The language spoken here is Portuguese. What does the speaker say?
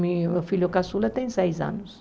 Meu filho caçula tem seis anos.